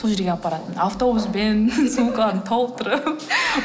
сол жерге апаратынмын автобуспен сумканы толтырып